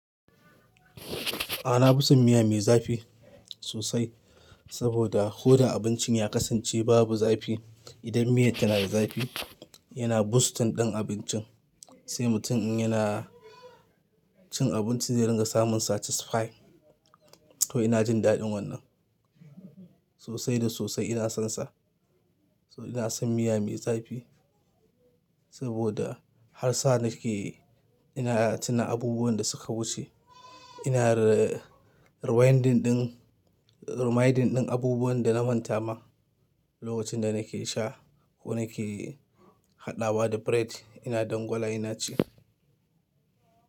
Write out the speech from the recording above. Ah, nafi son miya mai zafi, sosai saboda ko da abincin ya kasance babu zafi, idan miyar tana da zafi, yana boosting ɗin abincin, sai mutum in yana cin abincin zai ringa samun satisfy. To ina jin daɗin wannan, sosai da sosai ina sonsa. To ina son miya mai zafi, saboda, har sa nake, ina tuna abubuwan da suka wuce, ina rewinding ɗin, reminding ɗin abubuwan da na manta ma, lokacin da nake sha ko nake haɗawa da bread ina dangwala ina ci.